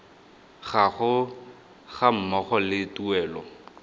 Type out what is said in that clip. gago ga mmogo le tuelo